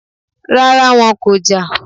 Rárá, wọn kò jà